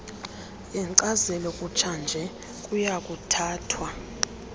yenkcazelo yakutshanje kuyakuthathwa